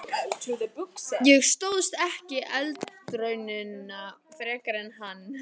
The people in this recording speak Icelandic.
Ég stóðst ekki eldraunina frekar en hann!